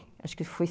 Acho que foi